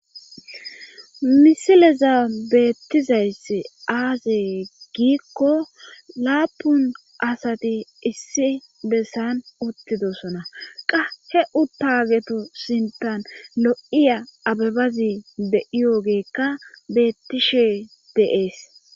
Misileza beettizayss aazee giikko laapun asati issi bessan uttidosona qa he u taageto sintan lo7iya abebazi be7iyoogeekka beettishe de7ees.